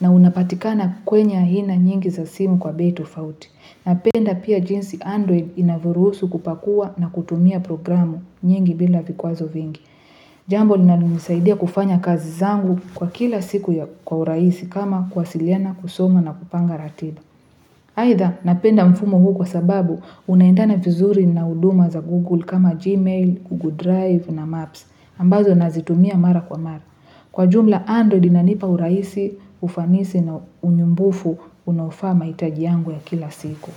na unapatikana kwenye ahina nyingi za simu kwa bei tofauti. Napenda pia jinsi Android inavyoruhusu kupakua na kutumia programu nyingi bila vikwazo vingi. Jambo linalonisaidia kufanya kazi zangu kwa kila siku ya kwa uraisi kama kwasiliana kusoma na kupanga ratiba. Aidha napenda mfumo huu kwa sababu unaendana vizuri na huduma za google kama gmail, google drive na maps ambazo nazitumia mara kwa mara. Kwa jumla android inanipa urahisi, ufanisi na unyumbufu unaofaa mahitaji yangu ya kila siku.